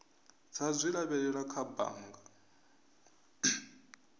dza zwi lavhelela kha bannga